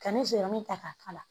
Ka nsiran ta k'a k'a la